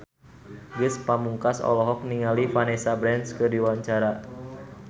Ge Pamungkas olohok ningali Vanessa Branch keur diwawancara